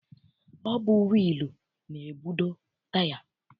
Ọ bụ wịịlụ na-ebudo taya.